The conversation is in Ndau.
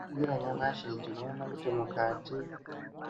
Tika ningira nyamashi tinoona kuti mukati